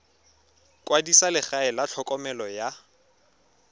kwadisa legae la tlhokomelo ya